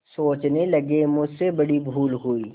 सोचने लगेमुझसे बड़ी भूल हुई